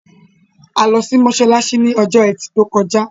A lọ sí mósálásí ní ọjọ́ ẹtì tó kọjá